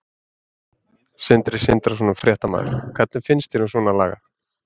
Sindri Sindrason, fréttamaður: Hvað finnst þér um svona lagað?